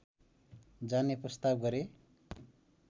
जाने प्रस्ताव गरे